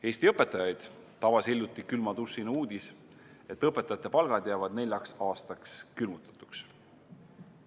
Eesti õpetajaid tabas hiljuti külma dušina uudis, et õpetajate palgad jäävad neljaks aastaks külmutatuks.